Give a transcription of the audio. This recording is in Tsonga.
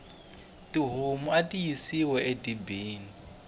tihomu ati yisiwa e dibini